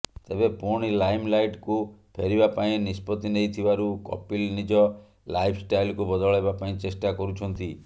ତେବେ ପୁଣି ଲାଇମଲାଇଟକୁ ଫେରିବା ପାଇଁ ନିଷ୍ପତ୍ତି ନେଇଥିବାରୁ କପିଲ ନିଜ ଲାଇଫଷ୍ଟାଇଲକୁ ବଦଳାଇବା ପାଇଁ ଚେଷ୍ଟା କରୁଛନ୍ତି